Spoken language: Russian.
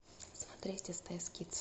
смотреть стс кидс